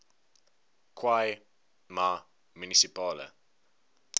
khai ma munisipale